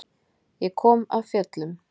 Ég kom af fjöllum.